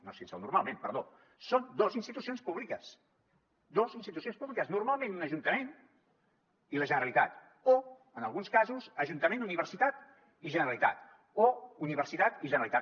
no sense el normalment perdó són dos institucions públiques dos institucions públiques normalment un ajuntament i la generalitat o en alguns casos ajuntament universitat i generalitat o universitat i generalitat